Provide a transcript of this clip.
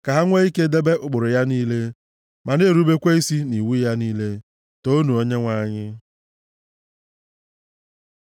ka ha nwee ike debe ụkpụrụ ya niile ma na-erubekwa isi nʼiwu ya niile. Toonu Onyenwe anyị.